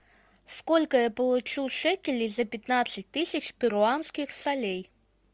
сколько я получу шекелей за пятнадцать тысяч перуанских солей